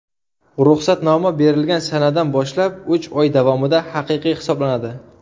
Ruxsatnoma berilgan sanadan boshlab uch oy davomida haqiqiy hisoblanadi.